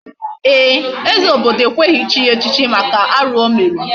Ee, eze obodo ekweghị echi ya echichi maka arụ o mere.